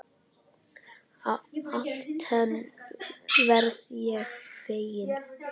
Alltént verð ég feginn.